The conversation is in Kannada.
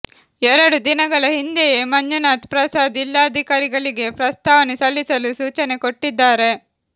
ಎರಡು ದಿನಗಳ ಹಿಂದೆಯೇ ಮಂಜುನಾಥ್ ಪ್ರಸಾದ್ ಜಿಲ್ಲಾಧಿಕಾರಿಗಳಿಗೆ ಪ್ರಸ್ತಾವನೆ ಸಲ್ಲಿಸಲು ಸೂಚನೆ ಕೊಟ್ಟಿದ್ದಾರೆ